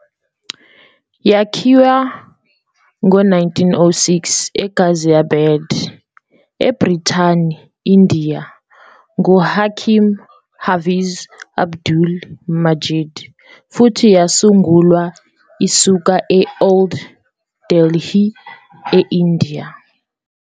Yakhiwa ngo-1906 eGhaziabad, eBrithani India nguHakim Hafiz Abdul Majeed, futhi yasungulwa isuka e- Old Delhi, e-India.